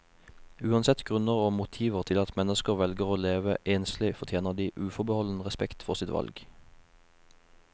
Uansett grunner og motiver til at mennesker velger å leve enslig, fortjener de uforbeholden respekt for sitt valg.